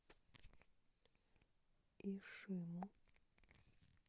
ишиму